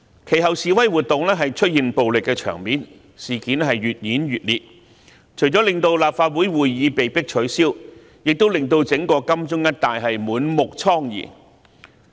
其後，示威活動出現暴力場面，事件越演越烈，除了令立法會會議被迫取消，亦令金鐘一帶滿目瘡痍。